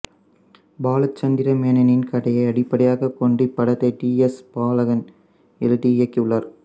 பாலச்சந்திர மேனனின் கதையை அடிப்படையாக கொண்டு இப்படத்தை டி எஸ் பாலகன் எழுதி இயக்கியுள்ளார்